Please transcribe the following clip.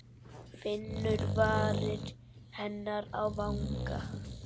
Finnur varir hennar á vanga.